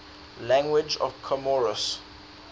languages of comoros